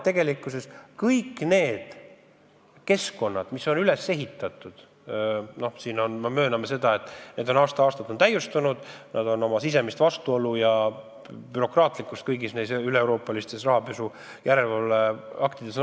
Kõik asjaomased keskkonnad on, me mööname seda, aasta-aastalt küll täiustunud, aga üleeuroopalistes rahapesu järelevalve aktides on sisemisi vastuolusid ja bürokraatlikkust.